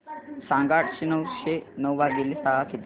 सांगा आठशे नऊ भागीले सहा किती